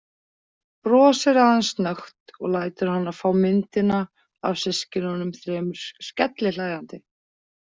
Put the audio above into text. Brosir aðeins snöggt og lætur hana fá myndina af systkinunum þremur skellihlæjandi.